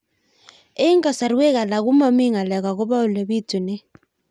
Eng' kasarwek alak ko mami ng'alek akopo ole pitunee